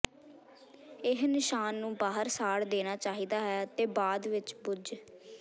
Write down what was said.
ਇਹ ਨਿਸ਼ਾਨ ਨੂੰ ਬਾਹਰ ਸਾੜ ਦੇਣਾ ਚਾਹੀਦਾ ਹੈ ਅਤੇ ਬਾਅਦ ਵਿੱਚ ਬੁਝ